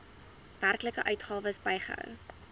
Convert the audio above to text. werklike uitgawes bygehou